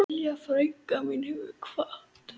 Lilja frænka mín hefur kvatt.